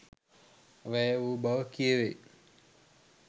වැය වූ බව කියැවෙයි.